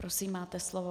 Prosím, máte slovo.